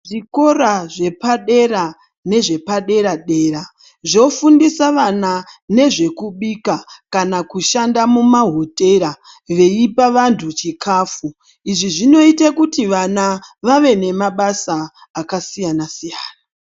Zvikora zvepadera nezvepadera dera zvofundisa vana ndezvekubika pakushanda mumahotera veipanvantu chikafu izvi zvinoitabkuti vana vave nebasa akasiyana siyana.